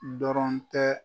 Dɔrɔn tɛ